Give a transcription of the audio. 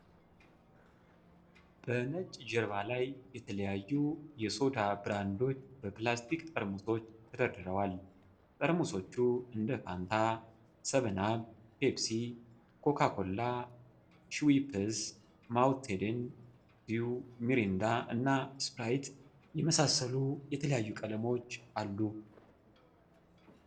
በነጭ ጀርባ ላይ የተለያዩ የሶዳ ብራንዶች በፕላስቲክ ጠርሙሶች ተደርድረዋል። ጠርሙሶቹ እንደ ፋንታ፣ ሰቨን አፕ፣ ፔፕሲ፣ ኮካ ኮላ፣ ሽዌፕስ፣ ማውንቴን ዲው፣ ሚሪንዳ እና ስፕራይት የመሳሰሉ የተለያዩ ቀለሞችን አሉ።